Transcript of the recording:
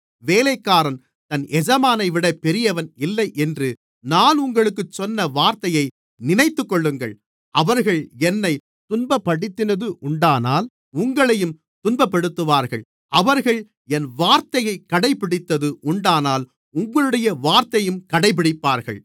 வேலைக்காரன் தன் எஜமானைவிட பெரியவன் இல்லை என்று நான் உங்களுக்குச் சொன்ன வார்த்தையை நினைத்துக்கொள்ளுங்கள் அவர்கள் என்னைத் துன்பப்படுத்தினது உண்டானால் உங்களையும் துன்பப்படுத்துவார்கள் அவர்கள் என் வார்த்தையை கடைபிடித்தது உண்டானால் உங்களுடைய வார்த்தையையும் கடைப்பிடிப்பார்கள்